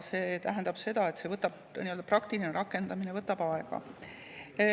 See tähendab seda, et nii-öelda praktiline rakendamine võtab aega.